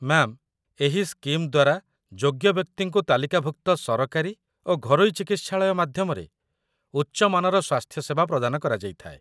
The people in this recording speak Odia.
ମ୍ୟା'ମ୍, ଏହି ସ୍କିମ୍ ଦ୍ୱାରା ଯୋଗ୍ୟ ବ୍ୟକ୍ତିଙ୍କୁ ତାଲିକାଭୁକ୍ତ ସରକାରୀ ଓ ଘରୋଇ ଚିକିତ୍ସାଳୟ ମାଧ୍ୟମରେ ଉଚ୍ଚ ମାନର ସ୍ୱାସ୍ଥ୍ୟ ସେବା ପ୍ରଦାନ କରାଯାଇଥାଏ